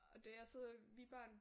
Og der sidder vi børn